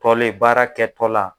Fɔlen baara kɛtɔ la.